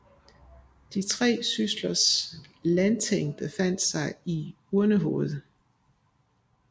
De tre syslers landsting befandt sig i Urnehoved